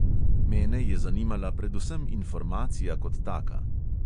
Mene je zanimala predvsem informacija kot taka.